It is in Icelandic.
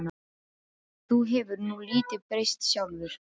Þú hefur nú lítið breyst sjálfur.